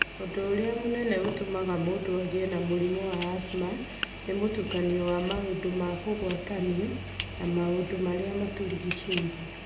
Ũndũ ũrĩa mũnene ũtũmaga mũndũ agĩe na mũrimũ wa asthma nĩ mũtukanio wa maũndũ ma kũgwatanio na maũndũ marĩa matũrigicĩirie.